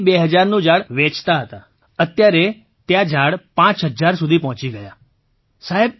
2000નું ઝાડ વેચતા હતા અત્યારે ત્યાં ઝાડ 5000 સુધી પહોંચી ગયાં સાહેબ